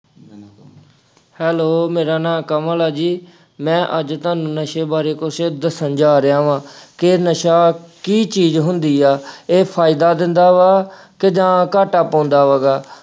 hello ਮੇਰਾ ਨਾਂ ਕਮਲ ਐ ਜੀ, ਮੈਂ ਅੱਜ ਤੁਹਾਨੂੰ ਨਸ਼ੇ ਬਾਰੇ ਕੁੱਝ ਦੱਸਣ ਜਾ ਰਿਹਾ ਵਾ ਕਿ ਨਸ਼ਾ ਕੀ ਚੀਜ਼ ਹੁੰਦੀ ਆ ਇਹ ਫਾਇਦਾ ਦਿੰਦਾ ਵਾ ਕਿ ਜਾਂ ਘਾਟਾ ਪਾਉਂਦਾ ਵਾ ਅਹ ਗਾ।